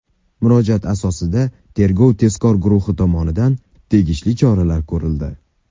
Murojaat asosida tergov-tezkor guruhi tomonidan tegishli choralar ko‘rildi.